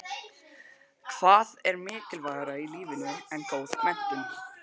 Hvað er mikilvægara í lífinu en góð menntun?